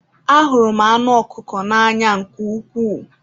Ahụrụ m anụ ọkụkọ n'anya nke ukwuu